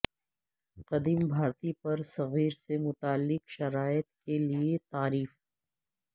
قدیم بھارتی برصغیر سے متعلق شرائط کے لئے تعریف